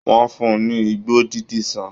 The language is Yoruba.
Wọ́n fún un ní igbó dídí ṣán